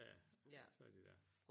Ja så er de der